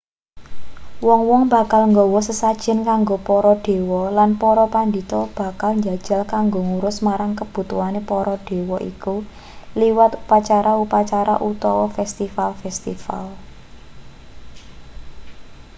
wong-wong bakal nggawa sesajen kanggo para dewa lan para pandhita bakal njajal kanggo ngurus marang kebutuhane para dewa iku liwat upacara-upacara utawa festival-festival